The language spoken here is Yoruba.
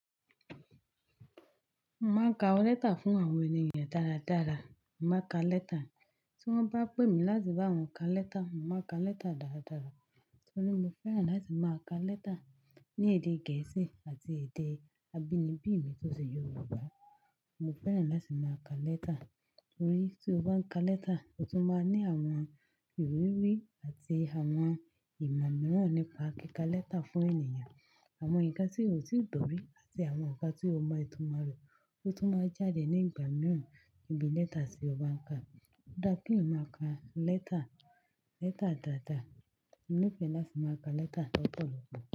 Mo máa ń ka letter fún àwọn ènìyàn dáradára. Mo máa ka letter, tí wọ́n bá pè mí láti bá wọn ka letter, mo máa ka letter dáradára. Torí mo fẹ́ràn láti máa ka letter ní èdè Gẹ̀ẹ́sì àti èdè abínibí mi tó ṣe Yorùbá. Mo fẹ́ràn láti máa ka letter, torí tí o bá ń ka letter, o tún máa ní àwọn ìrírí àti àwọn ìmọ̀ mìíràn nípa kíkà letter fún ènìyàn. Àwọn nǹkan tí o ti gbọ́rí àti àwọn nǹkan tí o máa itumo re ó tún máa jáde ní ìgbà mìíràn níbi letter tí o bá ń ka. Ó dá ki eyan máa ka letter, letter dáadáa. Mo nife láti máa ka letter lọ́pọ̀lọpọ̀